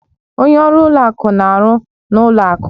Onye ọrụ ụlọ akụ na-arụ ọrụ n'ụlọ akụ